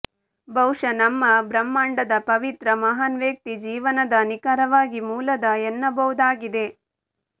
ಬಹುಶಃ ನಮ್ಮ ಬ್ರಹ್ಮಾಂಡದ ಪವಿತ್ರ ಮಹಾನ್ ವ್ಯಕ್ತಿ ಜೀವನದ ನಿಖರವಾಗಿ ಮೂಲದ ಎನ್ನಬಹುದಾಗಿದೆ